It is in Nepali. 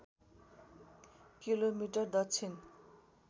किलोमिटर दक्षिण